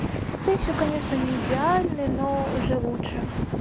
ты ещё конечно не идеально но уже лучше